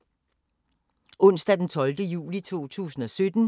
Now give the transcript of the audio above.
Onsdag d. 12. juli 2017